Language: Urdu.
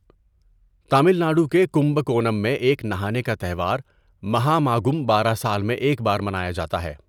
تامل ناڈو کے کمباکونم میں ایک نہانے کا تہوار مہاماگم بارہ سال میں ایک بار منایا جاتا ہے۔